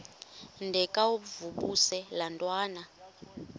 ndengakuvaubuse laa ntwana